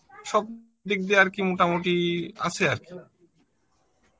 সবদিক দিয়ে আর কি মোটামুটি আছে আরকি